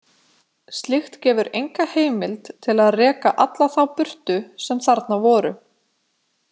Slíkt gefur enga heimild til að reka alla þá burtu sem þarna voru.